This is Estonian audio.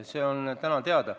See on täna teada.